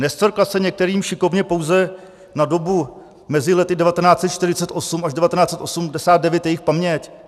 Nescvrkla se některým šikovně pouze na dobu mezi lety 1948 až 1989 jejich paměť?